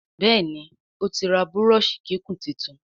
Béèni otí rà Búrọ́ọ̀ṣì kíkún títún.